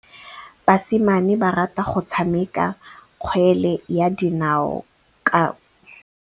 Basimane ba rata go tshameka kgwele ya dinaô kwa ntle.